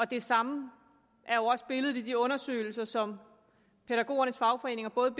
det samme er jo også billedet i de undersøgelser som pædagogernes fagforeninger både